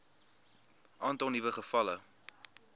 aantal nuwe gevalle